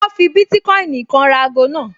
Wọ́n fi bítíkọ́ìnì kan ra ago náà